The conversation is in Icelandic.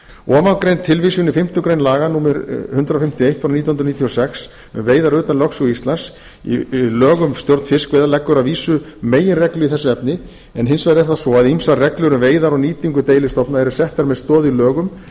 ofangreind tilvísun í fimmtu grein laga númer hundrað fimmtíu og eitt nítján hundruð níutíu og sex um fiskveiðar utan lögsögu íslands í lög um stjórn fiskveiða leggur að vísu meginreglur í þessu efni en hins vegar er það svo að ýmsar reglur um veiðar og nýtingu deilistofna eru settar með stoð í lögum